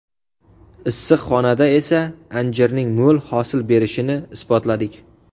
Issiqxonada esa anjirning mo‘l hosil berishini isbotladik.